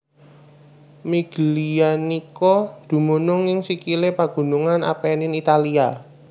Miglianico dumunung ing sikilé pagunungan Appenine Italia